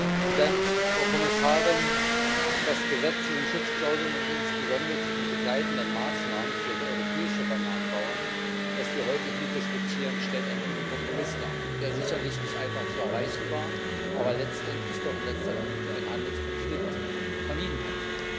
Herr Präsident, Frau Kommissarin! Das Gesetz zu den Schutzklauseln, insbesondere zu den begleitenden Maßnahmen für europäische Bananenbauern, das wir heute hier diskutieren, stellt einen guten Kompromiss dar, der sicherlich nicht einfach zu erreichen war, aber letztendlich doch in letzter Minute einen Handelskonflikt vermieden hat.